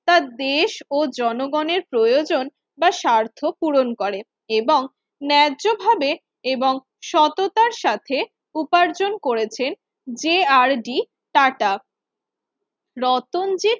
তার দেশ ও জনগণের প্রয়োজন বা স্বার্থ পূরণ করে এবং ন্যায্যভাবে এবং সততার সাথে উপার্জন করেছেন J R D Tata Ratanji tata